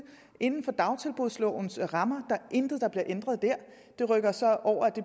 inden for dagtilbudslovens rammer er intet der bliver ændret dér